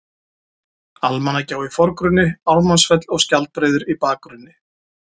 Almannagjá í forgrunni, Ármannsfell og Skjaldbreiður í bakgrunni.